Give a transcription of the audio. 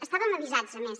estàvem avisats a més